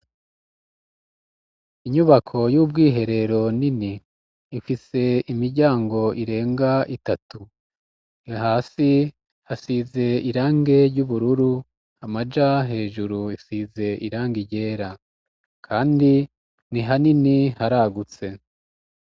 Inyubako y'ubwiherero nini ifise imiryango irenga itatu. Hasi hasize irange ry'ubururu, amaja hejuru isize irange ryera. Kandi ni hanini haragutse.